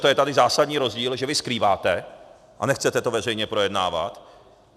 To je tady zásadní rozdíl, že vy skrýváte a nechcete to veřejně projednávat.